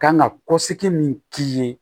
Kan ka kɔsigi min k'i ye